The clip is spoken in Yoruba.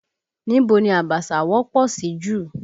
Níbo ni Abaṣa wọ́pọ̀ sí jù?